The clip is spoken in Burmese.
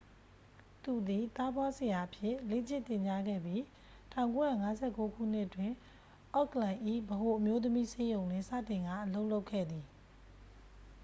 သူသည် သားဖွားဆရာအဖြစ် လေ့ကျင့်သင်ကြားခဲ့ပြီး 1959 ခုနှစ်တွင် အော့ကလန်၏ ဗဟိုအမျိုးသမီးဆေးရုံတွင် စတင်ကာ အလုပ်လုပ်ခဲ့သည်